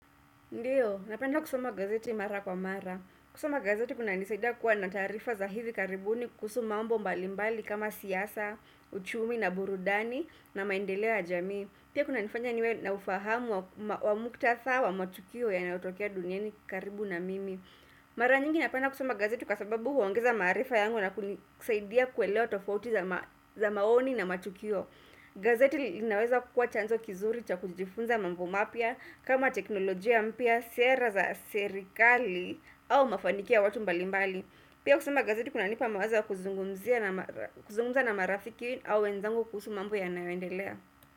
Ndiyo, napenda kusoma gazeti mara kwa mara. Kusoma gazeti kuna nisaidia kuwa nataarifa za hivi karibuni kuhusu mambo mbalimbali kama siasa, uchumi na burudani na maendeleo yajamii. Pia kuna nifanya niwe na ufahamu wa muktatha wa matukio yanayotokea duniani karibu na mimi. Mara nyingi napenda kusoma gazeti kwa sababu huongeza maarifa yangu na kunisaidia kuelewa tofauti za maoni na matukio gazeti linaweza kuwa chanzo kizuri cha kujifunza mambo mapia kama teknolojia mpia, sera za serikali au mafanikio ya watu mbalimbali Pia kusoma gazeti kuna nipa mawazo ya kuzungumzia na kuzungumza na marafiki au wenzangu kuhusu mambo ya nayoendelea.